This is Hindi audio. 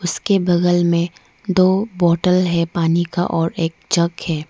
उसके बगल में दो बॉटल है पानी का और एक जग है।